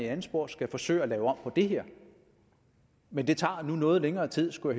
andet spor skal forsøge at lave om på det her men det tager nu noget længere tid skulle